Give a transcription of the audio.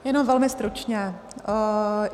Jenom velmi stručně.